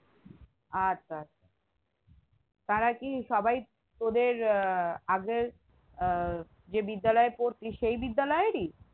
আচ্ছা আচ্ছা তারা কি সবাই তোদের আহ আগের যে বিদ্যালয়ে পারতিস সেই বিদ্যালয়েরই